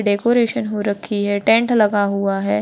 Decoration हो रखी है टेंट लगा हुआ है।